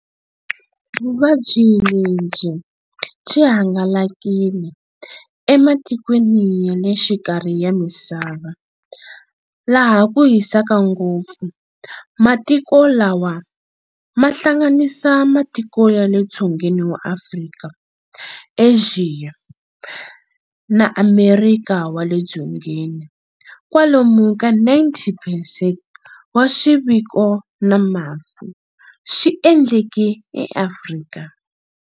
Vuvabyi lebyi byi hangalakile ematikweni yalexikarhi ya misava laha kuhisaka ngopfu. Matiko lawa mahlanganisa matiko yale Dzongeni bya Afrika, Axiya, na Amerika wale Dzongeni. Kwalomu ka 90 percent wa swiviko na mafu swi endleke eAfrika.